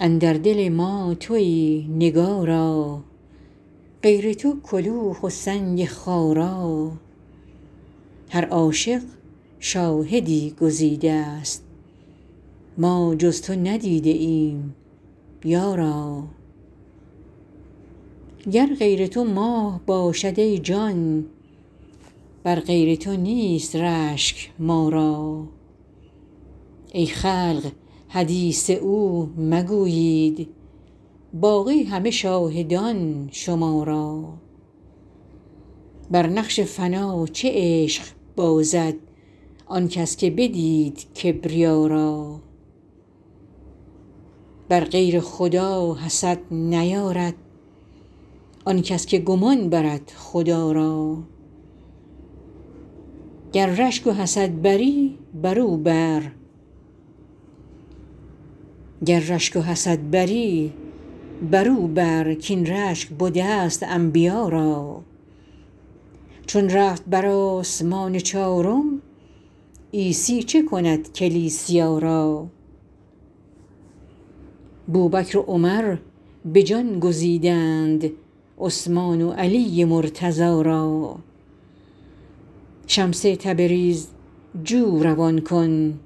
اندر دل ما توی نگارا غیر تو کلوخ و سنگ خارا هر عاشق شاهدی گزیدست ما جز تو ندیده ایم یارا گر غیر تو ماه باشد ای جان بر غیر تو نیست رشک ما را ای خلق حدیث او مگویید باقی همه شاهدان شما را بر نقش فنا چه عشق بازد آن کس که بدید کبریا را بر غیر خدا حسد نیارد آن کس که گمان برد خدا را گر رشک و حسد بری برو بر کاین رشک بدست انبیا را چون رفت بر آسمان چارم عیسی چه کند کلیسیا را بوبکر و عمر به جان گزیدند عثمان و علی مرتضا را شمس تبریز جو روان کن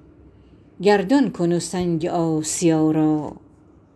گردان کن سنگ آسیا را